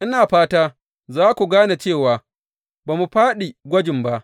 Ina fata za ku gane cewa ba mu fāɗi gwajin ba.